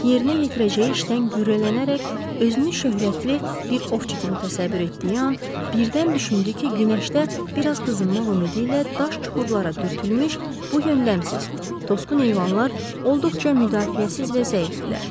Kirisk yerinə yetirəcəyi işdən qürrələnərək özünü şöhrətli bir ovçu kimi təsəvvür etdiyi an birdən düşündü ki, günəşdə biraz qızınmaq ümidi ilə daş çuxurlara dürtülmüş bu yöndəmsiz, tosqun heyvanlar olduqca müdafiəsiz və zəifdirlər.